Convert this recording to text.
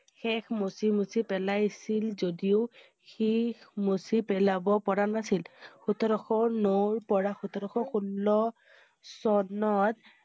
শেষ মচি মচি পেলাই~ছিল যদিও শি~খ মূচি পেলাব পৰা নাছিল। সোতৰ শ নৰ পৰা সোতৰ শ ষোল্ল চ~নত